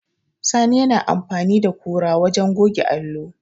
Sani yana amfani da kura wajen goge allo.